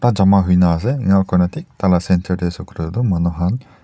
jama hoina ase ena kurina thik taila center tae ase koilae tu manu han--